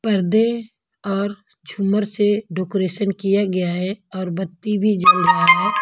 पर्दे और झूमर से डेकोरेशन किया गया है और बत्ती भी जल रहा है।